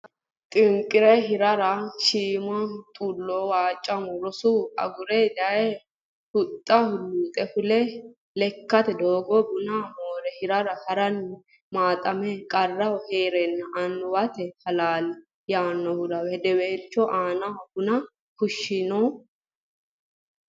xinqi re hirara shiima xullo Waachamo roso agure daye huxxa luuxe fule lekkate doogo buna moore hirara ha ranna maaxame qarraho ha ranna annimmate halaali ya aanaho hedeweelcho annu buna fushshinoena !